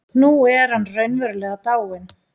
Nú er hann raunverulega dáinn.